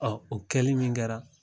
Ɔ o kɛli min kɛra